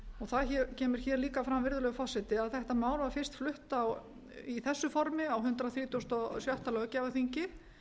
erum það kemur hér líka fram virðulegur forseti að þetta mál var fyrst flutt í þessu formi á hundrað þrítugasta og sjötta löggjafarþingi